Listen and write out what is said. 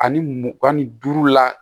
Ani mugan ni duuru la